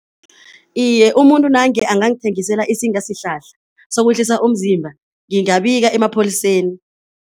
Iye, umuntu nange angangithengisela isingasihlahla sokwehlisa umzimba ngingabika emapholiseni.